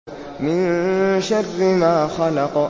مِن شَرِّ مَا خَلَقَ